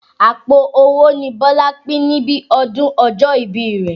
Àpò owó ni Bọ́lá pín níbi ọdún ọjọ́ ìbí rẹ̀.